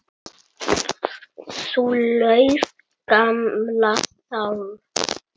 Þú ljúfa, gamla sál.